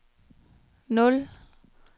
nul